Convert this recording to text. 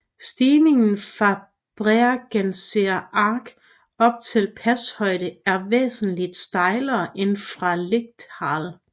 Stigningen fra Bregenzer Ach op til pashøjde er væsentligt stejlere end fra Lechtal